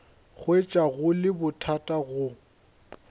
hwetša go le bothata go